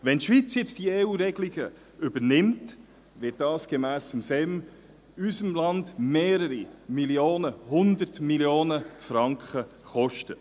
Wenn die Schweiz diese EURegelungen übernimmt, wird dies gemäss Staatssekretariat für Migration (SEM) unser Land mehrere 100 Mio. Franken kosten.